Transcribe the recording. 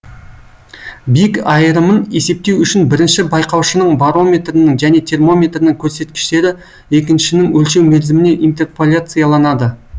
биік айырымын есептеу үшін бірінші байқаушының барометрінің және термометрінің көрсеткіштері екіншінің өлшеу мерзіміне интерполяцияланады